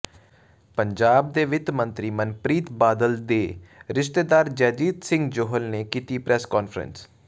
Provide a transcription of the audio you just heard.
ਪੰਜਾਬ ਦੇ ਵਿੱਤ ਮੰਤਰੀ ਮਨਪ੍ਰੀਤ ਬਾਦਲ ਦੇ ਰਿਸ਼ਤੇਦਾਰ ਜੈਜੀਤ ਸਿੰਘ ਜੌਹਲ ਨੇ ਕੀਤੀ ਪ੍ਰੈੱਸ ਕਾਨਫ਼ਰੰਸ